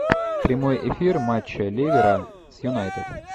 прямой эфир матча ливера с юнайтед